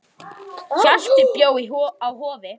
Hjalti bjó á Hofi.